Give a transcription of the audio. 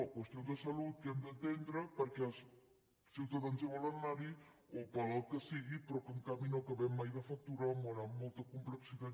qüestions de salut que hem d’atendre perquè els ciutadans hi volen anar o pel que sigui però que en canvi no acabem mai de facturar amb molta complexitat